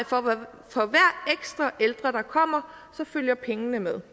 for hver ekstra ældre der kommer så følger pengene med